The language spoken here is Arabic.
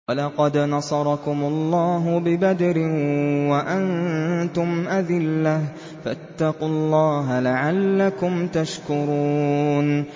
وَلَقَدْ نَصَرَكُمُ اللَّهُ بِبَدْرٍ وَأَنتُمْ أَذِلَّةٌ ۖ فَاتَّقُوا اللَّهَ لَعَلَّكُمْ تَشْكُرُونَ